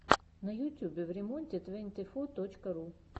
на ютьюбе времонте твэнти фо точка ру